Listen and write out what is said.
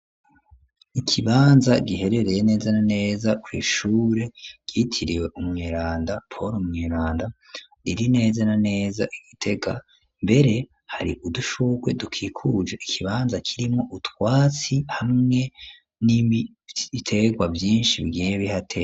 Ikibanza giherereye neza na neza kw'ishure ryitiriwe umweranda poul mweranda riri neza na neza Igitega mbere hari udushurwe dukikuje ikibanza kirimwo utwatsi hamwe n'ibiterwa vyishi bigiye bihateye.